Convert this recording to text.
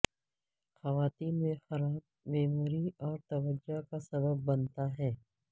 خواتین میں خراب میموری اور توجہ کا سبب بنتا ہے